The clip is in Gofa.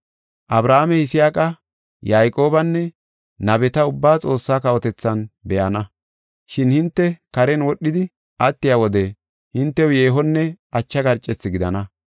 Abrahaame, Yisaaqa, Yayqoobanne nabeta ubbaa Xoossa kawotethan be7ana, shin hinte karen wodhidi attiya wode hintew yeehonne ache garcethi gidana.